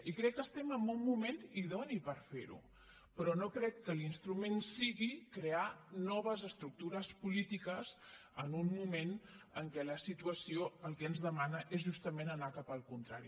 i crec que estem en un moment idoni per ferho però no crec que l’instrument sigui crear noves estructures polítiques en un moment en què la situació el que ens demana és justament anar cap al contrari